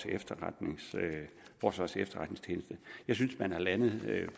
efterretningstjeneste jeg synes man er landet